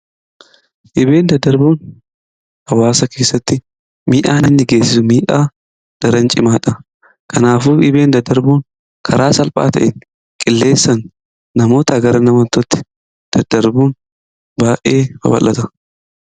Dhibee daddarboon hawaasa keessatti miidhaa inni geessisu daraan cimaadha. kanaafuu dhibee daddarboon karaa salphaa ta'een qilleensaan namootaa gara namootatti daddarbuun baay'ee babal'ata.